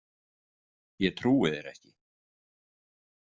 Ég trúi þér ekki!